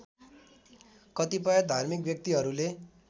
कतिपय धार्मिक व्यक्तित्वहरूले